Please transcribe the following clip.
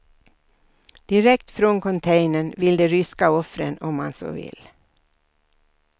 Direkt från containern till de ryska offren, om man så vill.